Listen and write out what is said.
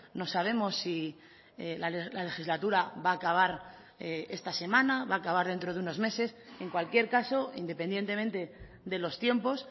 no sabemos si la legislatura va a acabar esta semana va a acabar dentro de unos meses en cualquier caso independientemente de los tiempos